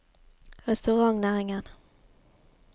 restaurantnæringen